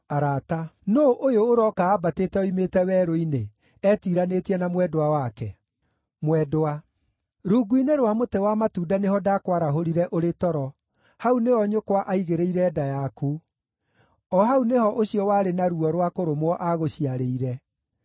Nũũ ũyũ ũroka ambatĩte oimĩte werũ-inĩ, etiiranĩtie na mwendwa wake? Mwendwa Rungu-inĩ rwa mũtĩ wa matunda nĩho ndakwarahũrire ũrĩ toro; hau nĩho nyũkwa aagĩĩrĩire nda yaku, o hau nĩho ũcio warĩ na ruo rwa kũrũmwo aagũciarĩire.